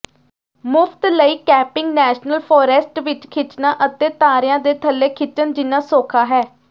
ਮੁਫ਼ਤ ਲਈ camping national forest ਵਿੱਚ ਖਿੱਚਣਾ ਅਤੇ ਤਾਰਿਆਂ ਦੇ ਥੱਲੇ ਖਿੱਚਣ ਜਿੰਨਾ ਸੌਖਾ ਹੈ